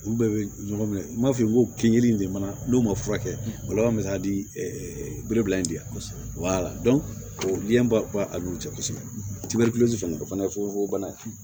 Olu bɛɛ bɛ ɲɔgɔn minɛ n b'a fɔ i b'o kin yiri in de ma n'o ma furakɛ o laban bɛ se ka dilebeleba in de ye o dilan b'a n'u cɛ kosɛbɛ o fana ye fugofugobana ye